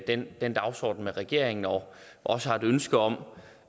den den dagsorden med regeringen og også har et ønske om